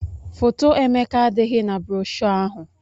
Foto Emeka adịghị na broshọ ahụ